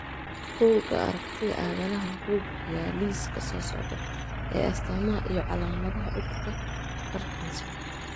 Bugaa aragtida aDdanaha wuxuu bixiyaa liiska soo socda ee astamaha iyo calaamadaha cudurka Parkinson.